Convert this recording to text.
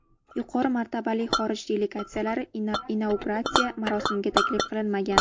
Yuqori martabali xorij delegatsiyalari inauguratsiya marosimiga taklif qilinmagan.